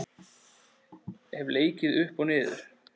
Hef leikið upp og niður.